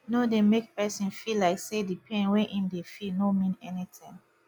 no dey make person feel like say di pain wey im dey feel no mean anything